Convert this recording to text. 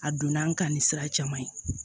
A donna an kan ni sira caman ye